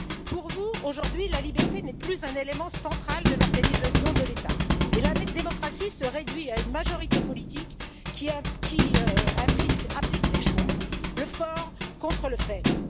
Pour vous, aujourd'hui, la liberté n'est plus un élément central de l'organisation de l'État et la démocratie se réduit à une majorité politique qui applique ses choix, le fort contre le faible.